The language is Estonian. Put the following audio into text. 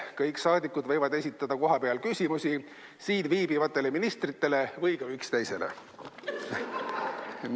Kõik saadikud võivad esitada kohapealt küsimusi siin viibivatele ministritele või ka üksteisele.